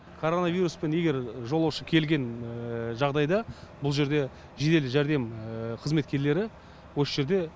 коронавируспен егер жолаушы келген жағдайда бұл жерде жедел жәрдем қызметкерлері осы жерде